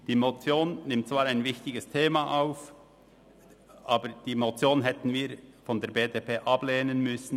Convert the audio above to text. Die Motion nimmt zwar ein wichtiges Thema auf, aber wir von der BDP hätten sie ablehnen müssen.